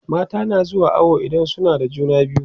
mata na zuwa awo idan suna da juna biyu